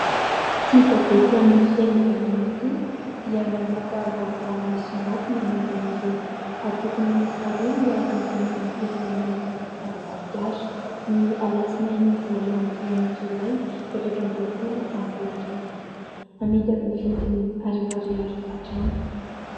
Ity gazety amin'ny fiteny vahiny ity, dia namoaka vaovao misongadina momba ireo atoko miisa roa miaro ny voninahim-pirenena eto Madagasikara ny alatsinainy voalohan'ny volana jolay efatra ambiroa-polo ambiroa arivo, amidy amin'ny vidiny arivo ariary hatrany.